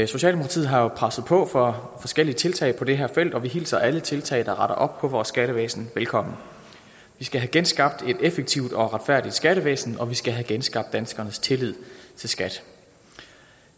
socialdemokratiet har jo presset på for forskellige tiltag på det her felt og vi hilser alle tiltag der retter op på vores skattevæsen velkommen vi skal have genskabt et effektivt og retfærdigt skattevæsen og vi skal have genskabt danskernes tillid til skat